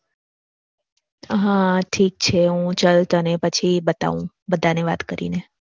હા ઠીક છે હું ચલ તને પછી બતાવું બધાને વાત કરીને.